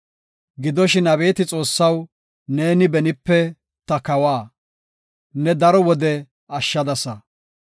Gidoshin, abeeti Xoossaw, neeni benipe ta kawa; ne daro wode ashshadasa.